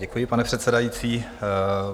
Děkuji, pane předsedající.